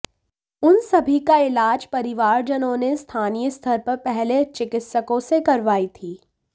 उन सभी का इलाज परिवारजनों ने स्थानीय स्तर पर पहले चिकित्सकों से करवाई थी